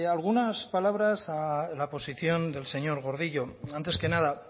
algunas palabras a la posición del señor gordillo antes que nada